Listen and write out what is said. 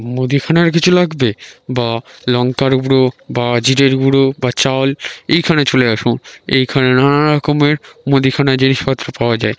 মুদিখানার কিছু লাগবে বা লংঙ্কার গুঁড়ো বা জিরের গুঁড়ো বা চাল এইখানে চলে আসুন। এইখানে নানা রকমের মুদিখানার জিনিসপত্র পাওয়া যায়।